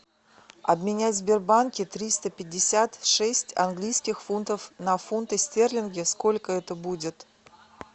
обменять в сбербанке триста пятьдесят шесть английских фунтов на фунты стерлинги сколько это будет